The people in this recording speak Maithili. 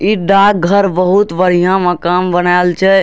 इ डाक घर बहुत बढ़ियां मकान बनाएल छै।